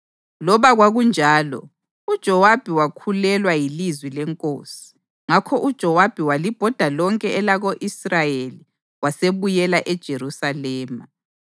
Loba kwakunjalo, uJowabi wakhulelwa yilizwi lenkosi, ngakho uJowabi walibhoda lonke elako-Israyeli wasebuyela eJerusalema.